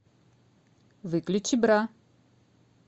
выключи бра